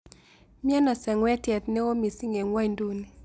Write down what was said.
Miano seng'wetiet neo miising' eng' ny'wonyduni